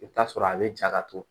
I bɛ t'a sɔrɔ a bɛ ja ka to